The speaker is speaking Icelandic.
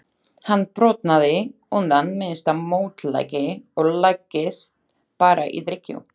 Hann brotnaði undan minnsta mótlæti og lagðist bara í drykkju.